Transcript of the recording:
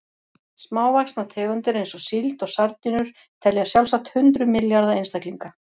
Smávaxnar tegundir eins og síld og sardínur telja sjálfsagt hundruð milljarða einstaklinga.